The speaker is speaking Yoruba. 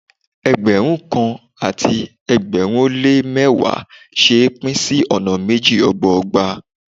Ẹgbẹ̀rún kan àti ẹgbẹ̀rin ó lé ní mẹ́wàá ṣe é pín sí ọ̀nà méjì ọgbọọgba.